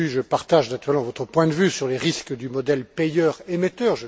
Bodu, je partage naturellement votre point de vue sur les risques du modèle payeur émetteur.